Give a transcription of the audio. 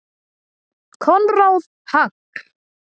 Konráð Hall.